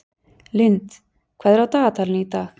Lynd, hvað er á dagatalinu í dag?